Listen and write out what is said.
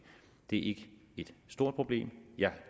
det er ikke et stort problem jeg